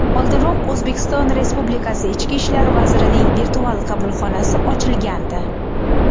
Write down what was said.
Oldinroq O‘zbekiston Respublikasi ichki ishlar vazirining virtual qabulxonasi ochilgandi .